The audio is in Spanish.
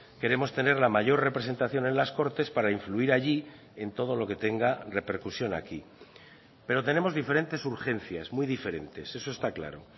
queremos tener la mayor representación en las cortes para influir allí en todo lo que tenga repercusión aquí pero tenemos diferentes urgencias muy diferentes eso está claro